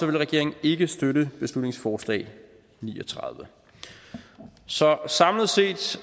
vil regeringen ikke støtte beslutningsforslag b ni og tredive så samlet set